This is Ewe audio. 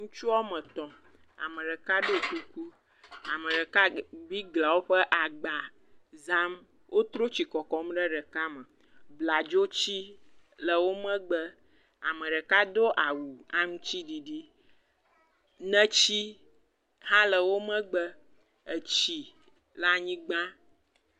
Ŋutsu woame etɔ. Ameɖeka ɖɔ kuku. Ame ɖeka wo le biglã woƒe agba zam. Wotrɔ etsi le kɔkɔm ɖe ɖeka me. Bladzoti le wo megbe. Ameɖeka do awu aŋutsiɖiɖi. Neti hã le wo megbe. Tsi le anyigã.